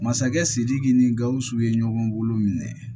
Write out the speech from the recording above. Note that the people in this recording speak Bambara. Masakɛ sidiki ni gausu ye ɲɔgɔn bolo minɛ